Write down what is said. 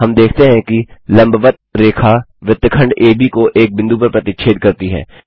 हम देखते हैं कि लंबवत्त रेखा वृत्तखंड एबी को एक बिंदु पर प्रतिच्छेद करती है